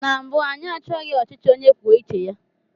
Na mbụ, anyị achọghị ọchịchị onye kwuo uche ya.